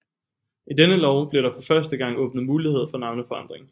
I denne lov blev der for første gang åbnet mulighed for navneforandring